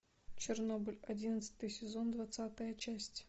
чернобыль одиннадцатый сезон двадцатая часть